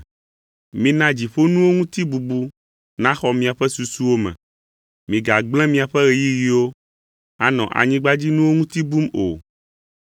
Mina dziƒonuwo ŋuti bubu naxɔ miaƒe susuwo me; migagblẽ miaƒe ɣeyiɣiwo anɔ anyigbadzinuwo ŋuti bum o.